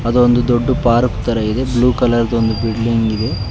ಇದು ಒಂದು ದೊಡ್ಡ ಪಾರ್ಕ್ ತರ ಇದೆ ಬ್ಲೂ ಕಲರ್ ಬಿಲ್ಡಿಂಗ್ ಇದೆ.